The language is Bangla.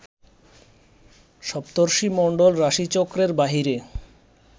সপ্তর্ষিমণ্ডল রাশিচক্রের বাহিরে